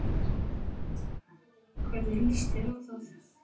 Hvernig lýst þér á það?